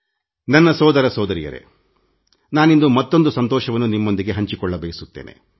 ನನ್ನ ಸಹೋದರ ಸಹೋದರಿಯರೇ ನಾನಿಂದು ಮತ್ತೊಂದು ಸಂತಸದ ವಿಷಯವನ್ನು ನಿಮಗೆ ಹೇಳಬಯಸುತ್ತೇನೆ